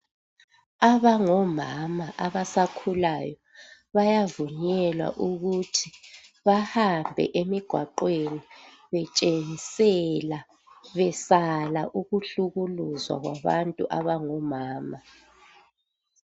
Abangomama abasakhulayo bayavunyelwa ukuthi bahambe emigwaqweni betshengisela, besala ukuhlukuluzwa kwabantu abangomama.